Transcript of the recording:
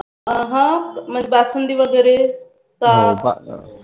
आभा मग बासुंदी वगैरे का